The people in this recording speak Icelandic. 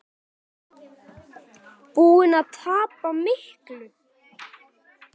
Guðný: Búinn að tapa miklu?